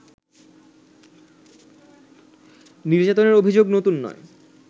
নির্যাতনের অভিযোগ নতুন নয়